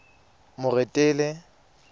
moretele